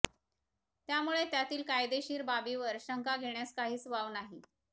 त्यामुळे त्यातील कायदेशीर बाबीवर शंका घेण्यास काहीच वाव नाही